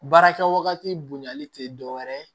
Baarakɛ wagati bonyali tɛ dɔw wɛrɛ ye